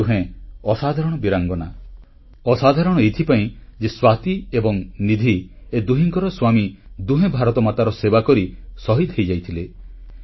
ଏ ଦୁହେଁ ଅସାଧାରଣ ବୀରାଙ୍ଗନା ଅସାଧାରଣ ଏଇଥିପାଇଁ ଯେ ସ୍ୱାତି ଏବଂ ନିଧିଙ୍କର ଏ ଦୁହିଁଙ୍କର ସ୍ୱାମୀ ଦୁହେଁ ଭାରତମାତାର ସେବାକରି ଶହୀଦ ହୋଇଯାଇଥିଲେ